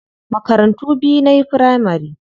Makarantu biyu nayi firamari.